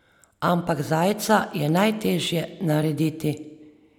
Ampak zajca je najtežje narediti.